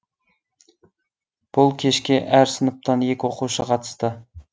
бұл кешке әр сыныптан екі оқушы қатысты